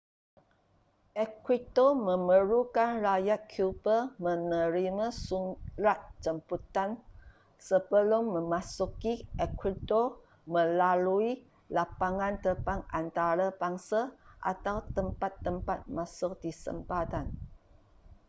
ecuador memerlukan rakyat cuba menerima surat jemputan sebelum memasuki ecuador melalui lapangan terbang antarabangsa atau tempat-tempat masuk di sempadan